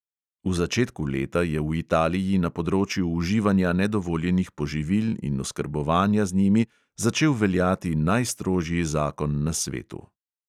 V začetku leta je v italiji na področju uživanja nedovoljenih poživil in oskrbovanja z njimi začel veljati najstrožji zakon na svetu.